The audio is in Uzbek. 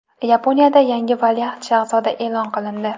Yaponiyada yangi valiahd shahzoda e’lon qilindi.